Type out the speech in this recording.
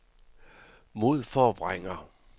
modforvrænger